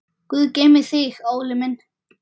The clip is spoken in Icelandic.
Guð geymi þig, Óli minn.